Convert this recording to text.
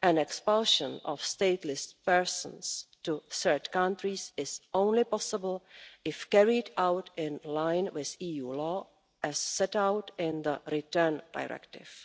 and expulsion of stateless persons to third countries is possible only if carried out in line with EU law as set out in the Return Directive.